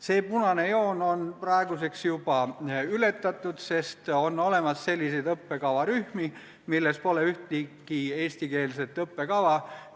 See punane joon on praeguseks juba ületatud, sest on olemas selliseid õppekavarühmi, milles pole ühtegi eestikeelset õppekava.